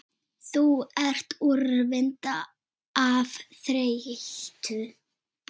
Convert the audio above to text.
Þú ert úrvinda af þreytu